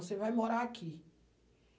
Você vai morar aqui.